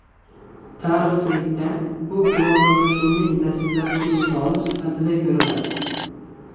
Tarixchilikda bu globallashuvning dastlabki misoli sifatida ko‘riladi.